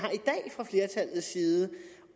i side